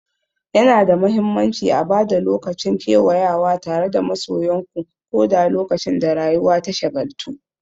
Yana da mahimmanci a ba da lokaci don kewayawa tare da masoyanku, ko da lokacin da rayuwa ta shagaltu.